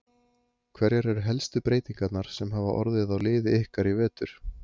Hverjar eru helstu breytingarnar sem hafa orðið á liði ykkar í vetur?